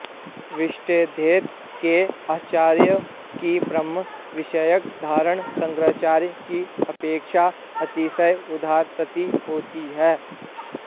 विशिष्टाद्वैत के आचार्यों की ब्रह्म विषयक धारणा शंकाराचार्य की अपेक्षा अतिशय उदार प्रतीत होती है